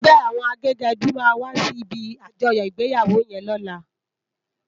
Ègbè áwòn àgégèdú má wàsí ibi ájòyò igbéyáwó yèn lòlá